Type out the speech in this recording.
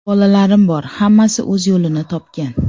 Bolalarim bor, hammasi o‘z yo‘lini topgan.